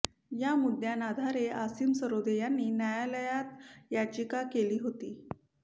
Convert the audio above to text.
या मुद्दायांआधारे असीम सरोदे यांनी न्यायालायात याचिका केली होती